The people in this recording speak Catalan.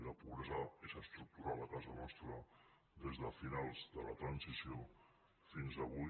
la pobresa és estructural a casa nostra des de fi·nals de la transició fins avui